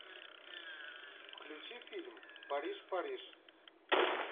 включи фильм париж париж